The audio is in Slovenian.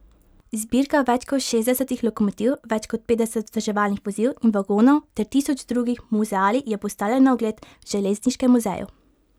Zbirka več kot šestdesetih lokomotiv, več kot petdesetih vzdrževalnih vozil in vagonov ter tisoč drugih muzealij, je postavljena na ogled v Železniškem muzeju.